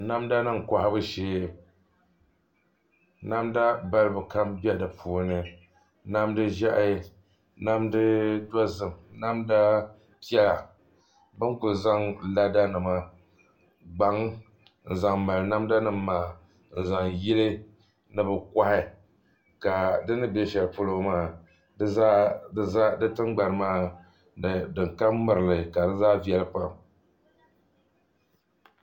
Namda nim kohabu shee namda balibu kam bɛ di puuni namdi ʒiɛhi namdi dozim namdi piɛla ka bi tom ku zaŋ lada nima gbaŋ n zaŋ mali namda nim maa n zaŋ yili ni bi kohi ka di ni bɛ shɛli polo maa di tingbani maa din kam mirili ka di zaa viɛli pam